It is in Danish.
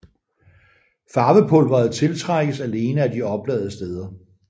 Farvepulveret tiltrækkes alene af de opladede steder